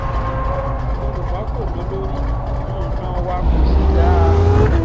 yorùbá kò lólórí nǹkan wa kò sì dáa